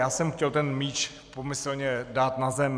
Já jsem chtěl ten míč pomyslně dát na zem.